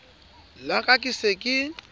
la ka ke se ke